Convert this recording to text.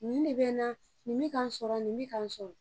Nin de bɛ na nin bɛ ka n sɔrɔ nin bɛ ka n sɔrɔ